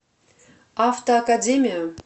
автоакадемия